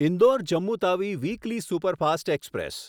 Indore Jammu Tawi weekly superfast express